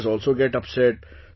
Teachers also get upset